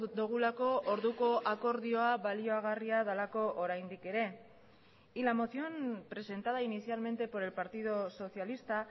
dugulako orduko akordioa baliagarria delako oraindik ere y la moción presentada inicialmente por el partido socialista